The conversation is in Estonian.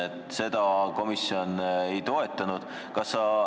Seda ettepanekut komisjon ei toetanud.